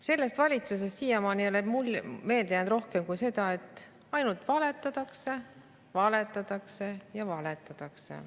Sellest valitsusest ei ole mulle siiamaani meelde jäänud rohkemat kui see, et ainult valetatakse, valetatakse ja valetatakse.